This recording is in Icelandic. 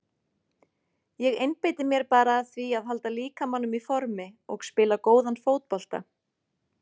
Ég einbeiti mér bara að því að halda líkamanum í formi og spila góðan fótbolta.